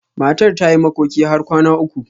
Matar ta yi makoki har kwana uku.